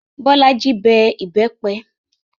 Bolaji bẹ ìbẹ́pẹ